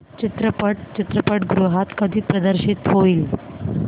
चित्रपट चित्रपटगृहात कधी प्रदर्शित होईल